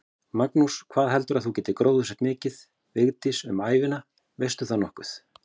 Magnús: Hvað heldurðu að þú hafir gróðursett mikið, Vigdís, um ævina, veistu það nokkuð?